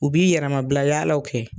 U bi yɛrɛmabila yaalaw kɛ